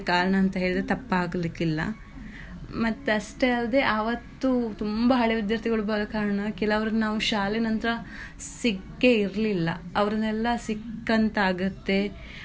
ಅಂತ ಹೇಳಿದ್ರೆ ತಪ್ಪಾಗ್ಲಿಕ್ಕಿಲ್ಲಾ ಮತ್ತೆ ಅಷ್ಟೇ ಅಲ್ಲದೆ ಆವತ್ತು ತುಂಬ ಹಳೆವಿದ್ಯಾರ್ಥಿಗಳು ಬರೋ ಕಾರಣ ಕೆಲವ್ರನ್ನ ನಾವು ಶಾಲೆಯನಂತ್ರ ಸಿಕ್ಕೆ ಇರ್ಲಿಲ್ಲಾ ಅವ್ರನ್ನೆಲ್ಲಾ ಸಿಕ್ಕಂತಾಗುತ್ತೆ.